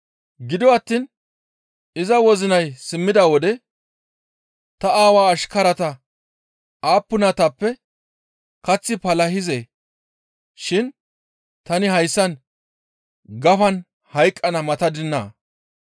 «Gido attiin iza wozinay simmida wode, ‹Ta aawa ashkarata aappunatappe kaththi palahizee shin tani hayssan gafan hayqqana matadinaa?